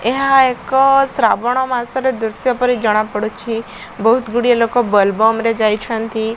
ଏହା ଏକ ଶ୍ରାବଣ ମାସର ଦୃଶ୍ଯ ପରି ଜଣା ପଡୁଛି ବୋହୁତ ଗୁଡିଏ ଲୋକ ବୋଲବମରେ ଯାଇଛନ୍ତି।